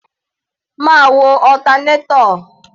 Máa wo alternator.